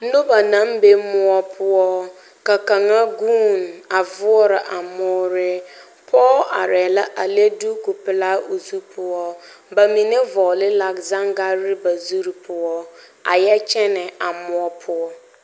Noba naŋ be mõͻ poͻ, ka kaŋa guune a voͻrͻ a moore. Pͻge arԑԑ la a le duku-pelaa o zu poͻ. Ba mine vͻgele la zangarre ba zuri poͻ a yԑ kyԑnԑ a mõͻ poͻ.